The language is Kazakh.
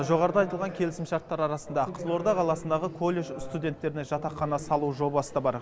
жоғарыда айтылған келісімшарттар арасында қызылорда қаласындағы колледж студенттеріне жатақхана салу жобасы да бар